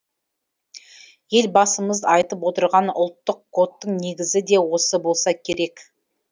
елбасымыз айтып отырған ұлттық кодтың негізі де осы болса керек